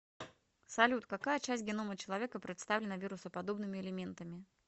салют какая часть генома человека представлена вирусоподобными элементами